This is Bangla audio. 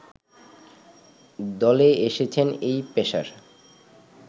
দলে এসেছেন এই পেসার